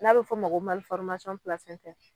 N'a be f'ɔ ma ko